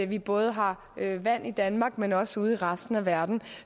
vi både har vand i danmark men også ude i resten af verden